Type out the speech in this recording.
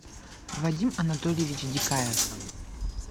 вадим анатольевич дикаев